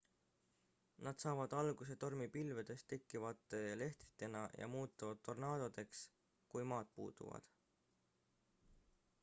nad saavad alguse tormipilvedest tekkivate lehtritena ja muutuvad tornaadodeks kui maad puutuvad